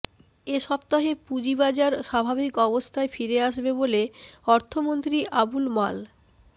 এ সপ্তাহে পুঁজিবাজার স্বাভাবিক অবস্থায় ফিরে আসবে বলে অর্থমন্ত্রী আবুল মাল